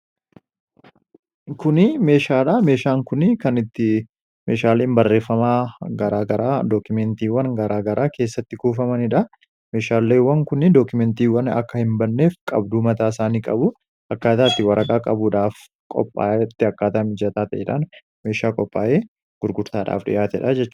kuni meeshaadhaa meeshaan kunii kan itti meeshaaliin barreeffamaa garaa garaa dookumeentiiwwan garaagaraa keessatti kuufamaniidha meeshaalleewwan kuni dookumeentiiwwan akka hin banneef qabduu mataa isaanii qabu akkaataatti waraqaa qabuudhaaf qophaayatti akkaataamijataa taedhaan meeshaa qophaa'ee gurgurtaadhaaf dhyaatedha